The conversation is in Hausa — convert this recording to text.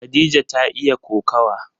Khadija ta iya kokawa.